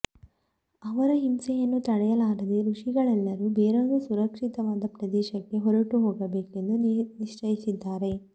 ಅವರ ಹಿಂಸೆಯನ್ನು ತಡೆಯಲಾರದೆ ಋಷಿಗಳೆಲ್ಲರೂ ಬೇರೊಂದು ಸುರಕ್ಷಿತವಾದ ಪ್ರದೇಶಕ್ಕೆ ಹೊರಟುಹೋಗಬೇಕೆಂದು ನಿಶ್ಚಯಿಸಿದ್ದಾರೆ